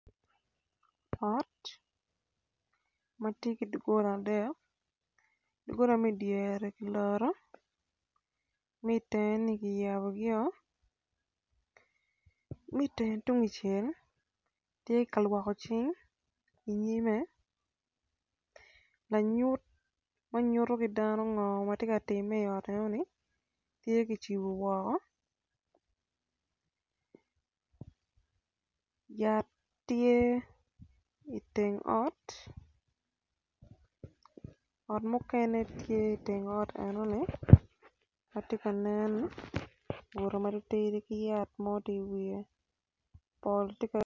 Ot ma tye ki dogola adek doggola ma i dyere ki loro ma i tenge ki yabo ma i teng tuncel tye ka lwoko cing i nyime lanyut ma nyuto ki dano ngo ma tye ka timme i ot enoni tye kicibo woko.